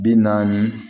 Bi naani